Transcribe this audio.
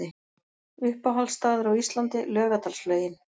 Uppáhalds staður á Íslandi: Laugardalslaugin